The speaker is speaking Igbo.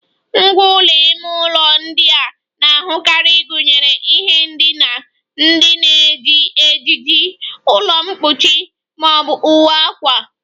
Ngwá ụlọ ime ụlọ ndị a na-ahụkarị gụnyere ihe ndina, ndị na-eji ejiji, ụlọ mkpuchi ma ọ bụ uwe akwa